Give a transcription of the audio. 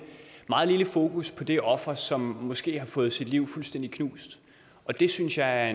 meget lille fokus på det offer som måske har fået sit liv fuldstændig knust det synes jeg er